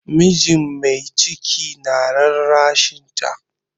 Mijin mai ciki na rarrashinta.